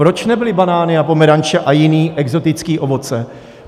Proč nebyly banány a pomeranče a jiné exotické ovoce?